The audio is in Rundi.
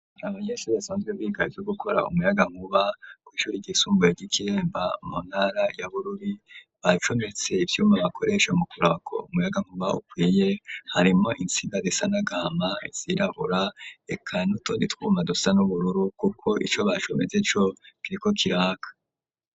Abanyeshure basanzwe biga gukora umuyaga nkuba ku ishure ryisumbuye ry'ikiremba muntara ya bururi bacometse ivyuma bakoresha mu kurabako umuyaga nkuba ukwiye harimwo insiga zisa n'agama izirabura eka nutundi twuma dusa n'ubururu kuko ico bacometse co kiriko kiraka.